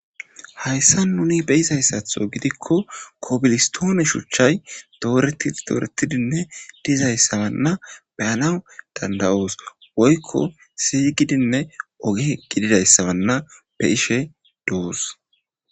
hayssa nuni be'izayssatho gidikko kobilistoone shuchchay dooreti doretidinne dizayssabanna beyanaw danda'oos woykko si'i gidinne oge gididayssabanna be'ishe doos